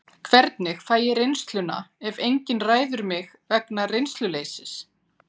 Hvernig fæ ég reynsluna ef enginn ræður mig vegna reynsluleysis?